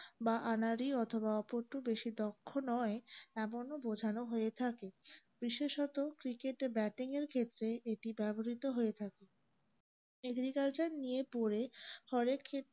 বা আনাড়ি অথবা বেশি দক্ষ নয় এমন ও বোঝানো হয়ে থাকে বিশেষত cricket এ batting এর ক্ষেত্রে এতি ব্যাবহ্রিত হয়ে থাকে